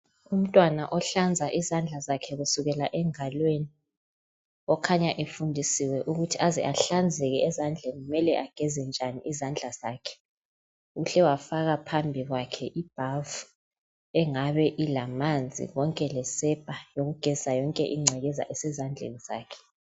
Umntwana ohlanza izandla zakhe kusukela engalweni okhanya efundisiwe ukuthi aze ahlanzeke ezandleni kumele ageze njani izandla zakhe Uhle wafaka phambi kwakhe ibhavu engabe ilamanzi konke lesepa yokugezisa yonke ingcekexa esezandleni zakhe